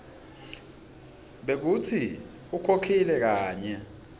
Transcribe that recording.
bekutsi ukhokhile kanye